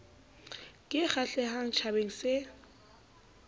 ke e kgahlehang tjhabeng se